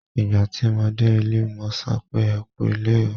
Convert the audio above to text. Ìgbà tí mo dé ilé, mo sọ pé "ẹ kú ilé o".